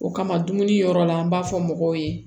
O kama dumuni yɔrɔ la an b'a fɔ mɔgɔw ye